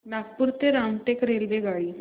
नागपूर ते रामटेक रेल्वेगाडी